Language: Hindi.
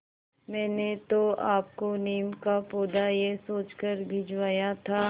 मैंने तो आपको नीम का पौधा यह सोचकर भिजवाया था